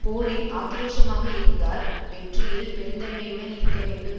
போரில் ஆக்கிரோஷமாக இருந்தால் வெற்றியில் பெருந்தன்மையுடன் இருக்கவேண்டும்